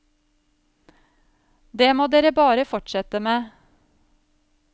Det må dere bare fortsette med.